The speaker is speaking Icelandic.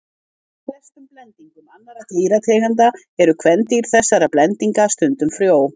Ólíkt flestum blendingum annarra dýrategunda eru kvendýr þessara blendinga stundum frjó.